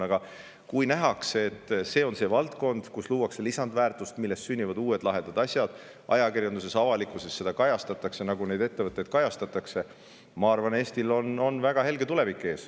Aga kui nähakse, et see on valdkond, kus luuakse lisandväärtust, millest sünnivad uued lahedad asjad, ning ka ajakirjanduses seda kõike kajastatakse, nendest ettevõtetest räägitakse, siis ma arvan, Eestil on väga helge tulevik ees.